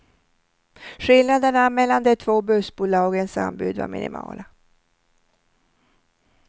Skillnaderna mellan de två bussbolagens anbud var minimala.